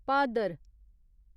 Bhadar